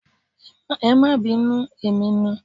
Ẹ máa bínú emi ni.